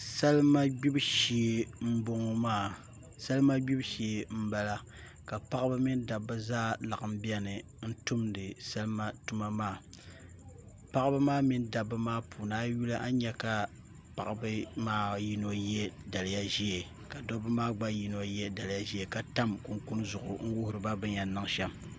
Salima gbibu shee n bala ka paɣaba mini dabba zaa laɣam biɛni n tumdi salima tuma maa paɣaba maa mini dabba maa puuni a yi yuli a ni nyɛ ka paɣaba maa yino yɛ daliya ka dabba maa gba yino yɛ daliya ʒiɛ ka tam kunkun zuɣu n wuhuriba bi ni yɛn niŋ shɛm